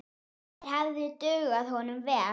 Þeir hefðu dugað honum vel.